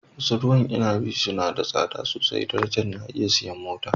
wasu ruwan inabi suna da tsada sosai darajar na iya siyan mota